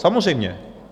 Samozřejmě.